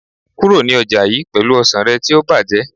kúrò ní ọjà yii pelu ọsàn rẹ ti o ti bajẹ